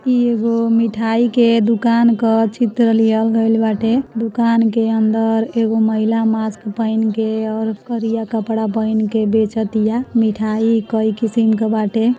इ एगो मिठाई के दुकान क चित्र लिहल गइल बाटे दुकान के अंदर एगो महिला मास्क पहिन के और करिया कपड़ा पहिन के बेचतीया मिठाई कई किसिम क बाटे।